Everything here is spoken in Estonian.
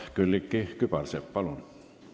Külliki Kübarsepp, palun!